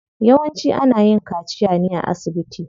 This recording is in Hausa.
Yawanci ana yin kaciya ne a asibiti.